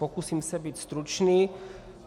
Pokusím se být stručný.